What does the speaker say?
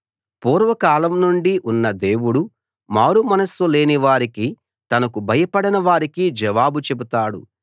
పూర్వకాలం నుండి ఉన్న దేవుడు మారుమనస్సు లేనివారికి తనకు భయపడని వారికి జవాబు చెబుతాడు